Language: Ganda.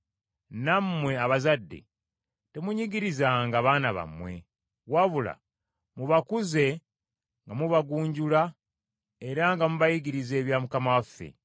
Nammwe abazadde, temunyigirizanga baana bammwe, wabula mubakuze nga mubagunjula era nga mubayigiriza ebya Mukama waffe.